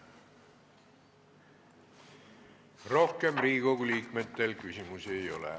Rohkem Riigikogu liikmetel küsimusi ei ole.